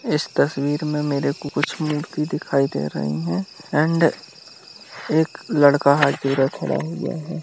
इस तस्वीर में मेरे को कुछ मूर्ति दिखाई दे रही है एंड एक लड़का हाथ जोड़े खड़ा है यह है।